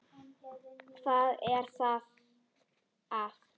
Hvað er þá að?